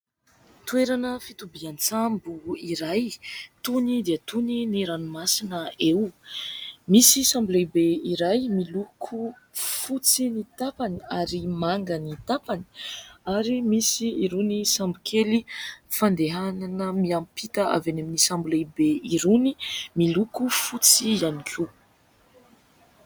Toerana fitobian-tsambo iray, tony dia tony ny ranomasina eo. Misy sambo lehibe iray miloko : fotsy ny tapany ary manga ny tapany ; ary misy irony sambo kely fandehanana miampita avy any amin'ny sambo lehibe irony, miloko fotsy ihany koa.